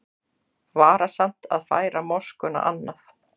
Varasamt að færa moskuna annað